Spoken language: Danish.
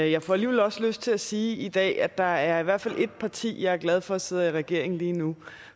jeg får alligevel også lyst til at sige i dag at der i hvert fald er ét parti jeg er glad for sidder i regering lige nu